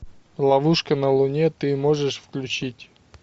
ловушка на луне ты можешь включить